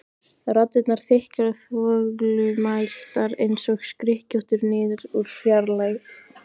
Raddirnar þykkar og þvoglumæltar einsog skrykkjóttur niður úr fjarlægð.